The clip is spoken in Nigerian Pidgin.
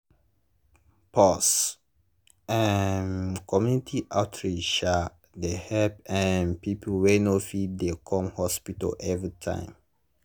pause - um community outreach um dey help um people wey no fit dey come hospital every time.